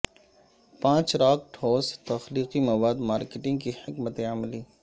پانچ راک ٹھوس تخلیقی مواد مارکیٹنگ کی حکمت عملی